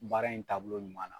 Baara in taabolo ɲuman na.